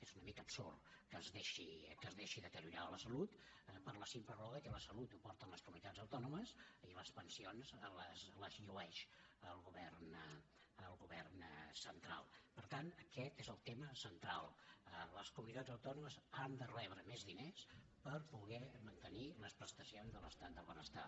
és una mica absurd que es deixi deteriorar la salut per la simple raó que la salut la porten les comunitats autònomes i les pensions les llueix el govern centralper tant aquest és el tema central les comunitats autònomes han de rebre més diners per poder mantenir les prestacions de l’estat del benestar